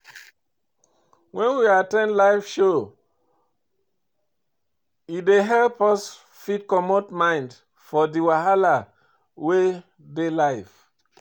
when we at ten d live show e dey help us fit comot mind from di wahala wey dey life